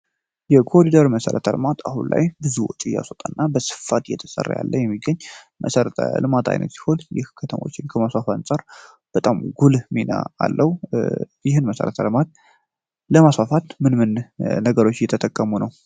የኮሪደር መሰረት ልማት በአሁኑ ሰአት ብዙ ወጪ እያስወጣ ያለ እና በስፋት እየተሰራ ያለ መሰረተ ልማት ሲሆን ይህ ከተሞችን ከማስፋፋት አንፃር በጣም ጉልህ ሚና አለው። ይህን መሰረተ ልማት ለማሟላት ምን ምን ነገሮችን እየተጠቀሙ ነው?